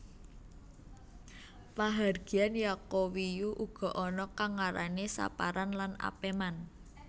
Pahargyan Yaqowiyu uga ana kang ngarani Saparan lan Apeman